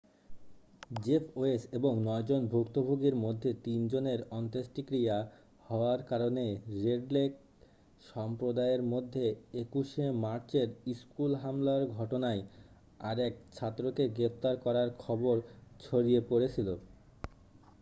Jeff Weise এবং নয়জন ভুক্তভোগীর মধ্যে তিনজনের অন্ত্যেষ্টিক্রিয়া হওয়ার কারণে রেড লেক সম্প্রদায়ের মধ্যে 21'শে মার্চের স্কুল হামলার ঘটনায় আরেক ছাত্রকে গ্রেপ্তার করার খবর ছড়িয়ে পড়েছিল।